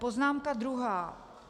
Poznámka druhá.